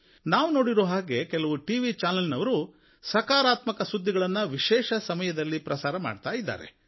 ನಾವು ನೋಡಿರುವ ಹಾಗೆ ಕೆಲವು ಟಿವಿ ಚಾನೆಲ್ ನವರು ಸಕಾರಾತ್ಮಕ ಸುದ್ದಿಗಳನ್ನು ವಿಶೇಷ ಸಮಯದಲ್ಲಿ ಪ್ರಸಾರ ಮಾಡ್ತಾ ಇದ್ದಾರೆ